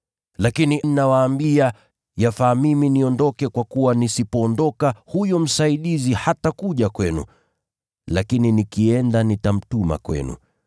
Lakini nawaambia kweli, yafaa mimi niondoke, kwa kuwa nisipoondoka, huyo Msaidizi hatakuja kwenu, lakini nikienda nitamtuma kwenu.